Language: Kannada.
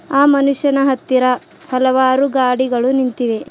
ಆ ಮನುಷ್ಯನ ಹತ್ತಿರ ಹಲವಾರು ಗಾಡಿಗಳು ನಿಂತಿವೆ.